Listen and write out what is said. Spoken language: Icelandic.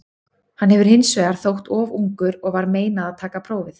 Hann hefur hins vegar þótt of ungur og var meinað að taka prófið.